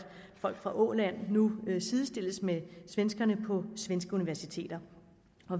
folk fra åland nu sidestilles med svenskerne på svenske universiteter